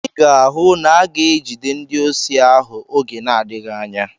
Ị ga-ahụ na aga-egide ndị osi ahụ oge n'adịghị anya.